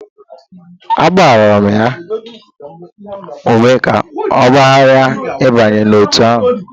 Ee, agbara m ya ume ka ọ ghara ịbanye n'otu ahụ